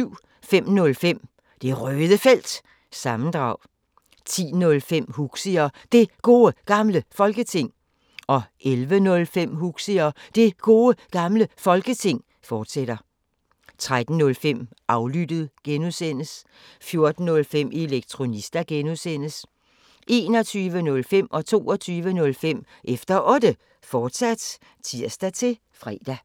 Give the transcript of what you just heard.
05:05: Det Røde Felt – sammendrag 10:05: Huxi og Det Gode Gamle Folketing 11:05: Huxi og Det Gode Gamle Folketing, fortsat 13:05: Aflyttet G) 14:05: Elektronista (G) 21:05: Efter Otte, fortsat (tir-fre) 22:05: Efter Otte, fortsat (tir-fre)